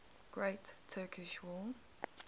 great turkish war